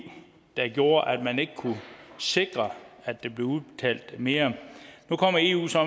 gjorde at man ikke kunne sikre at der blev udbetalt mere nu kommer eu så